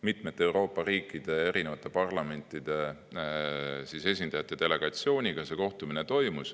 Mitmete Euroopa riikide, erinevate parlamentide esindajate delegatsiooniga see kohtumine toimus.